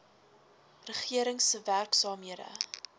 regering se werksaamhede